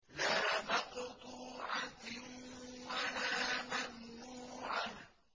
لَّا مَقْطُوعَةٍ وَلَا مَمْنُوعَةٍ